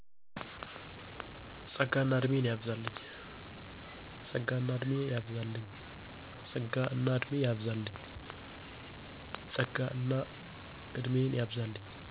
ፀጋንእና እድሜን ያብዛልኝ